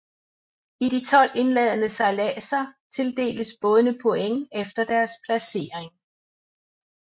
I de 12 indledende sejladser tildeles bådene points efter deres placering